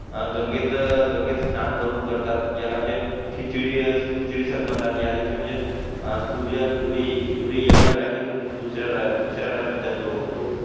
अं गंगेत गंगेत सान करून करतात याला म्हणजे खिचडी यादिवशी म्हणजे सूर्य सुरे सूर्य एकाच राशीतून दुसऱ्या राशीत जातो